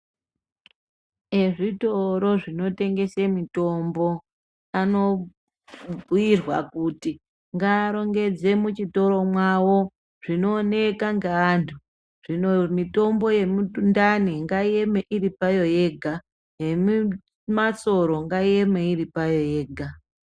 Ezvitoro zvinotengese mitombo anobhuyirwa kuti ngaarongedze muchitoro mwawo zvinooneka ngeantu mitombo yemundani ngaieme iri payo yega yemasoro ngaieme iri payo yega.